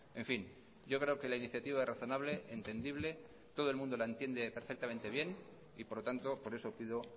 en fin yo creo que la iniciativa razonable entendible todo el mundo la entiende perfectamente bien y por lo tanto por eso pido